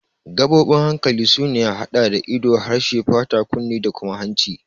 Gaɓoɓin hankali sun haɗa da ido, harshe, fata, kunne da kuma hanci.